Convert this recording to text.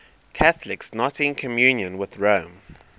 catholics not in communion with rome